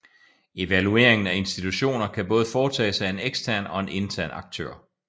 Evalueringen af institutioner kan både foretages af en ekstern og en intern aktør